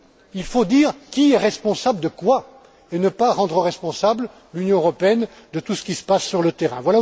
Il faut dire qui est responsable de quoi et ne pas rendre responsable l'Union européenne de tout ce qui se passe sur le terrain.